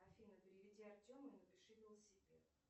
афина переведи артему и напиши велосипед